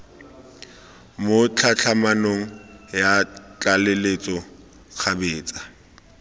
mo tlhatlhamanong ya tlaleletso kgabetsa